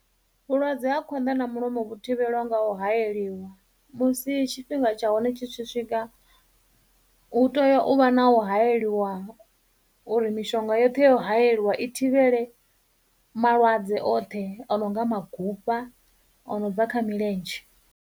Vhulwadze ha khwanḓa na mulomo vhu thivhelwa nga u hayeliwa, musi tshifhinga tsha hone tshi tshi swika hu teya u vha na u hayeliwa uri mishonga yoṱhe ya u hayeliwa i thivhele malwadze oṱhe o no nga magufha o no bva kha milenzhe.